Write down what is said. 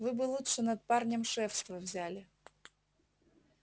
вы бы лучше над парнем шефство взяли